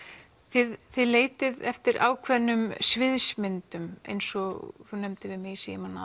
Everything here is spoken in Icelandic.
þið leitið eftir ákveðnum sviðsmyndum eins og þú nefndir við mig í símann að